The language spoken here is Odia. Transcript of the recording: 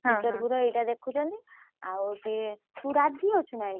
ଟିକେ typing speed ହଉଛିକି ନାଇ ଖାଲି ଦେଖୁଛନ୍ତି interview ର ଏଇଟା ଦେଖୁଛନ୍ତି।